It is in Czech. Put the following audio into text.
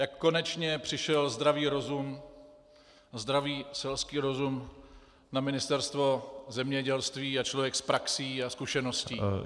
Jak konečně přišel zdravý rozum, zdravý selský rozum na Ministerstvo zemědělství a člověk s praxí a zkušeností.